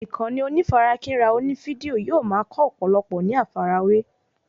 Ìkànnì onífarakínra oní fídíò yóò ma kọ́ ọ̀pọ̀lọpọ̀ ní àfàrawé